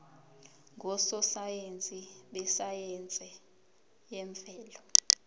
ngososayense besayense yemvelo